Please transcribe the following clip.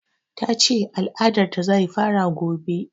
Ta ce al'adar ta zai fara gobe